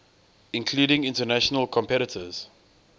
including international competitors